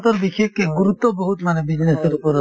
সিহঁতৰ বিশেষকে গুৰুত্ৱ বহুত মানে business ৰ ওপৰত